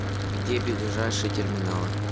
где ближайшие терминалы